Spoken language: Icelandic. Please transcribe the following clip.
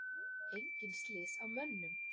Engin slys á mönnum.